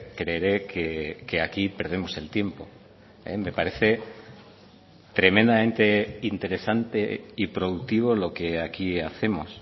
creeré que aquí perdemos el tiempo me parece tremendamente interesante y productivo lo que aquí hacemos